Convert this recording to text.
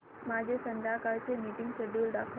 माझे संध्याकाळ चे मीटिंग श्येड्यूल दाखव